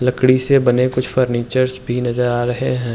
लकड़ी से बने कुछ फर्नीचर्स भी नजर आ रहे हैं।